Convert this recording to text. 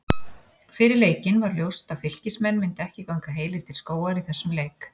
Fyrir leikinn var ljóst að Fylkismenn myndu ekki ganga heilir til skógar í þessum leik.